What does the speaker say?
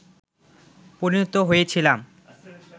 পরিণত হয়েছিলাম